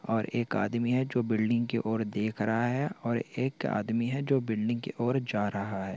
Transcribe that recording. और एक आदमी है जो बिल्डिंग और देख रहा है और एक आदमी है जो बिल्डिंग की और जा रहा है।